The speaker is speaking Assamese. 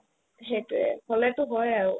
সেটোয়ে হ'লেতো হয় আৰু